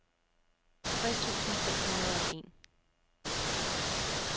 tres tusind fem hundrede og en